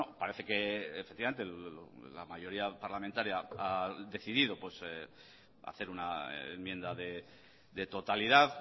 parece que efectivamente la mayoría parlamentaria ha decidido hacer una enmienda de totalidad